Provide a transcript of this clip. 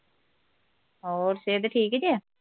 ਹੋਰ ਸਿਹਤ ਠੀਕ ਜੇ